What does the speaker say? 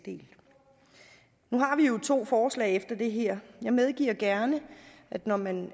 vi jo to forslag efter det her jeg medgiver gerne at når man